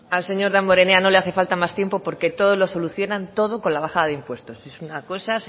zurea da hitza al señor damborenea no le hace falta más tiempo porque todo lo solucionan todo con la bajada de impuestos es una cosa